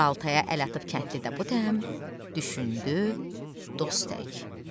Baltaya əl atıb kəndli də bu dəm düşündü dost tək.